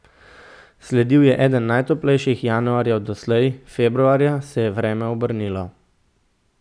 Sledil je eden najtoplejših januarjev doslej, februarja se je vreme obrnilo.